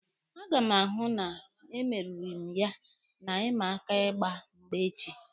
A ga m ahụ na emeriri m ya na ịma aka ịgba mgba echi.